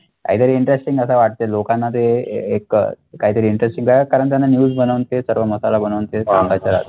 either हे interesting अस वाटते लोकांना ते एक काहीतरी interesting आहे कारण त्यांना news बनवून ते सर्व मसाला बनवून ते सांगायचं असतं